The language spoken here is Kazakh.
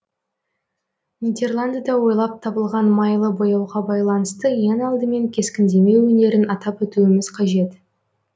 нидерландыда ойлап табылған майлы бояуға байланысты ең алдымен кескіндеме өнерін атап өтуіміз қажет